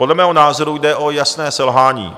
Podle mého názoru jde o jasné selhání.